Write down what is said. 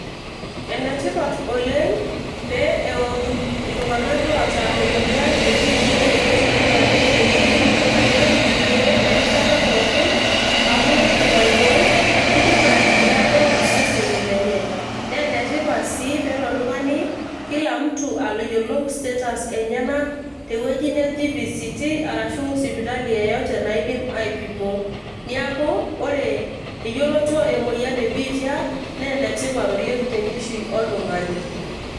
Ene tipat oleng' pee eotum iltung'anak loata emoyian e biitia yioloti enaa HIV peetum irkeek erishata pookin amu kidim aiboi, nidim aitagolo iseseni lenye. Naa ene tipat sii peelo oltung'ani kila mtu ayolou status enyenak tewueji neji VCT arashu sipitali yeyote naidim aipimo . Neeku ore eyoloto emoyian e biitia naa ene tipat oleng' tenkishui oltung'ani.